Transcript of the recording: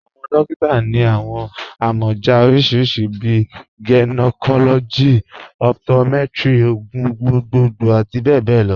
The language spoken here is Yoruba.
Awọn dòkìtà ni awọn amọja oríṣiríṣí bíi gynecology, optometry, ogun gbogbogbo ati bẹbẹ lọ.